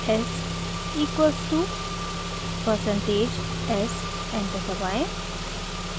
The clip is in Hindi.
s equals to percentage s enter दबाएं